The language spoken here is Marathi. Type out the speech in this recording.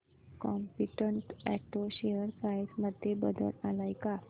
कॉम्पीटंट ऑटो शेअर प्राइस मध्ये बदल आलाय का